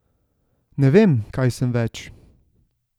Ne vem, kaj sem več.